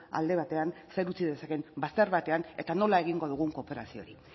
alde batean zer utzi dezake bazter batean eta nola egingo dugun kooperazio hori